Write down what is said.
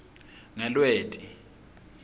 ngelweti